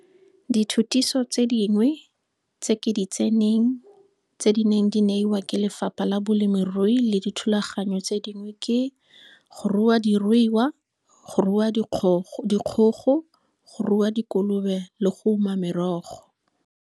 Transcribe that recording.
Dithutiso tse dingwe tse ke di tseneng tse di neng di neiwa ke Lefapha la Bolemirui le dithulaganyo tse dingwe ke. Go rua diruiwa, Go rua dikgogo, Go rua dikolobe le Go uma merogo.